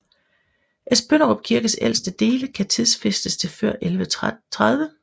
Esbønderup Kirkes ældste dele kan tidsfæstes til før 1130